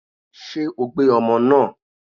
Ṣé o gbé ọmọ náà?